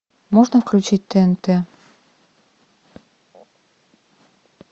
можно включить тнт